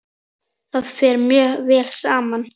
Það fer mjög vel saman.